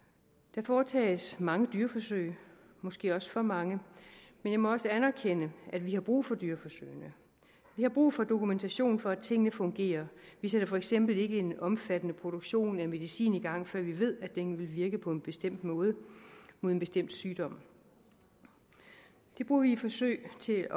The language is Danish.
der foretages mange dyreforsøg måske også for mange men jeg må også anerkende at vi har brug for dyreforsøgene vi har brug for dokumentation for at tingene fungerer vi sætter for eksempel ikke en omfattende produktion af medicin i gang før vi ved at den vil virke på en bestemt måde mod en bestemt sygdom det bruger vi forsøg til